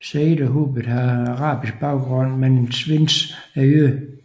Saïd og Hubert har arabisk baggrund mens Vinz er jøde